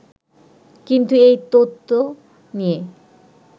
কিন্তু এই তত্ত্ব নিয়ে